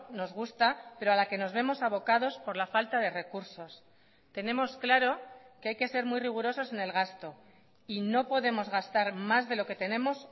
nos gusta pero a la que nos vemos abocados por la falta de recursos tenemos claro que hay que ser muy rigurosos en el gasto y no podemos gastar más de lo que tenemos